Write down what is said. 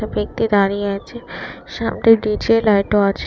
ব্যক্তি দাঁড়িয়ে আছে সামনে পিছে লাইটও আছে।